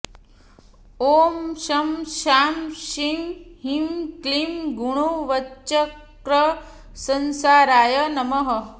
ॐ शं शां षं ह्रीं क्लीं गुणवच्चक्रसंसाराय नमः